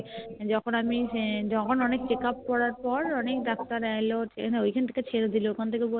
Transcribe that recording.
যখন আমি যখন অনেক Checkup করার পর অনেক Doctor এলো ওখান থেকে ছেড়ে দিলো ওখান থেকে